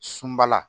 Sunbala